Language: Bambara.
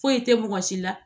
Foyi tɛ mɔgɔ si la